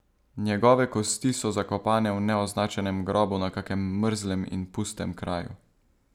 Njegove kosti so zakopane v neoznačenem grobu na kakem mrzlem in pustem kraju.